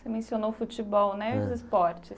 Você mencionou futebol né É e os esportes.